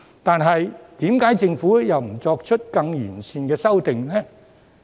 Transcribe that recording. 但是，為何政府又不作出更完善的修訂呢？